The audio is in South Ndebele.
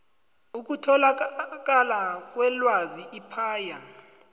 ukutholakala kwelwazi ipaia